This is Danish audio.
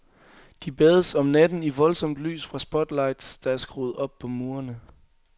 De bades om natten i voldsomt lys fra spotlights, der er skruet op på murene.